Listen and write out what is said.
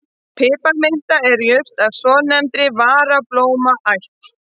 Piparminta er jurt af svonefndri varablómaætt.